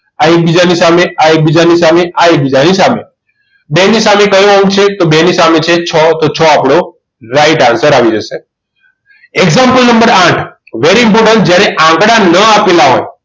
આ એકબીજાની સામે આ એકબીજાની સામે આ એકબીજાની સામે બેની સામે કયો અંક છે બેની સામે છે છો તો છ આપણો right answer આવી જશે example નંબર આઠ very important જ્યારે આંકડા ન આપેલા હોય